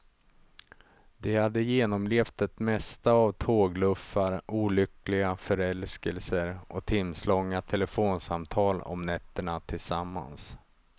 De hade genomlevt det mesta av tågluffar, olyckliga förälskelser och timslånga telefonsamtal om nätterna tillsammans.